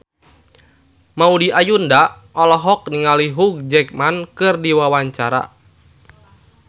Maudy Ayunda olohok ningali Hugh Jackman keur diwawancara